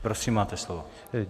Prosím, máte slovo.